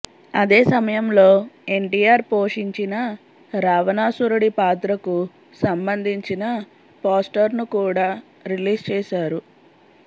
అదే సమయంలో ఎన్టీఆర్ పోషించిన రావణాసురుడి పాత్రకు సంబంధించిన పోస్టర్ను కూడా రిలీజ్ చేశారు